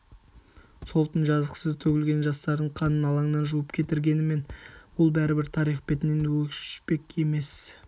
сол түн жазықсыз төгілген жастардың қанын алаңнан жуып кетіргенмен ол бәрібір тарих бетінен өшпек емес